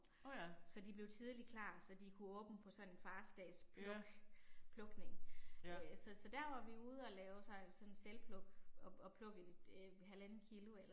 Så de blev tidlig klar så de kunne åbne på sådan en fars dags pluk, plukning øh. Så så der var vi ude og lave så sådan selvpluk og og plukke øh halvandet kilo eller